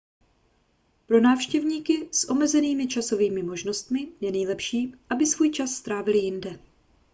pro návštěvníky s omezenými časovými možnostmi je nejlepší aby svůj čas strávili jinde